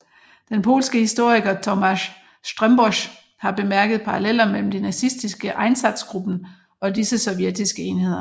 Den polske historiker Tomasz Strzembosz har bemærket paralleller mellem de nazistiske Einsatzgruppen og disse sovjetiske enheder